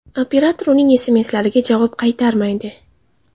Operator uning SMS’lariga javob qaytarmaydi.